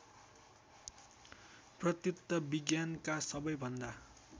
प्रयुक्त विज्ञानका सबैभन्दा